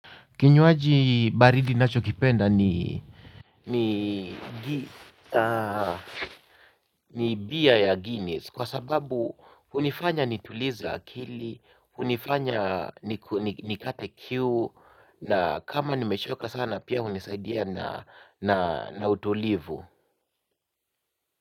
Kinywaji baridi nachokipenda ni bia ya Guinness kwa sababu hunifanya nitulize akili hunifanya nikate kiu. Na kama nimeshoka sana pia hunisaidia na utulivu.